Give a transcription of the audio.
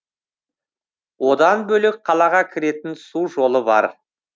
одан бөлек қалаға кіретін су жолы бар